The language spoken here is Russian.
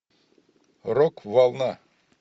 рок волна